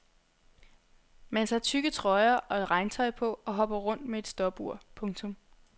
Man tager tykke trøjer og regntøj på og hopper rundt med et stopur. punktum